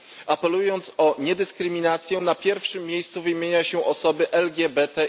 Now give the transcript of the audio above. Apelując o niedyskryminację, na pierwszym miejscu wymienia się osoby LGBTI.